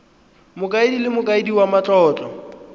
mokaedi le mokaedi wa matlotlo